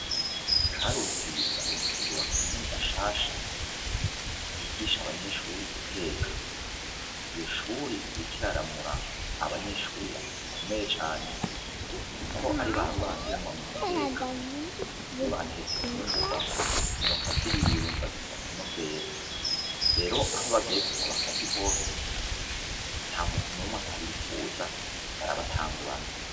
Karuzi ayerwa kugurura ku minuta nshasha yigisha abanyeshuri iteka iyo shuri irikiraramura abanyeshuri bakomeye cane, kuko ari barurangiranwa mu guteka iyo batetse imfungurwa umuntu aziriye yumva z'ibisakano vera rero aho bagiye gusabakazi hose nta muntu n'umwe atabifuza barabatangurana.